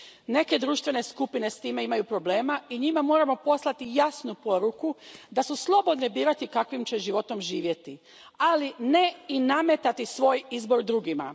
Neke društvene skupine s time imaju problema i njima moramo poslati jasnu poruku da su slobodne birati kakvim će životom živjeti, ali ne i nametati svoj izbor drugima.